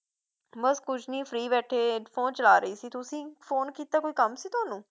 ਬਸ ਕੁਛ ਨੀ free ਬੈਠੇ ਏ phone ਚਲਾ ਰਹੀ ਸੀ ਤੁਸੀ phone ਕੀਤਾ ਕੋਈ ਕੰਮ ਸੀ ਤੁਹਾਨੂੰ